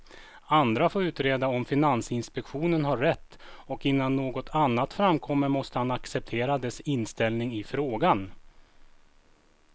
Andra får utreda om finansinspektionen har rätt och innan något annat framkommer måste han acceptera dess inställning i frågan.